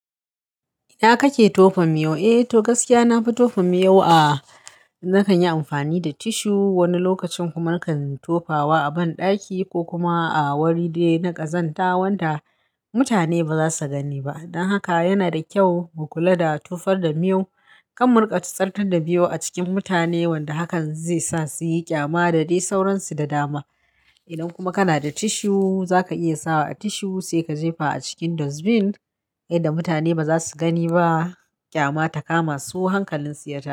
Ina kake tofa miyau? Eh, to gaskiya nafi tofa miyo a zakan yi amfani da tissue, wani lokacin kuma nakan tofawa a banɗaki ko kuma a wuri dai na ƙazanta wanda mutane ba za su gani ba. Don haka yana da kyau mu kula da tofar da miyo. Kan muriƙa tutsartar da miyo a cikin mutane wanda hakan zai sa su yi ƙyama da dai sauransu da dama. Idan kuma kana da tissue, zaka iya sawa a tissue sai ka jefa a cikin dustbin yadda mutane ba za su gani ba. Ƙyama ta kama su hankalinsu ya ta shi.